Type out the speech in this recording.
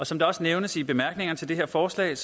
som det også nævnes i bemærkningerne til det her forslag